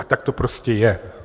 A tak to prostě je.